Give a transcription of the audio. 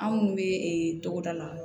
Anw bɛ ee togoda la